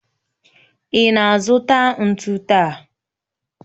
Ị na-azụta ntu taa?